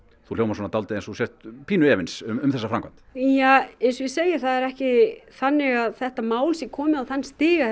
þú hljómar eins og þú sért pínu efins um þessa framkvæmd eins og ég segi það ekki þannig að þetta mál sé komið á það stig að